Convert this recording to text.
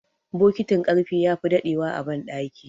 bokitin karfe ya fi dadewa a bandaki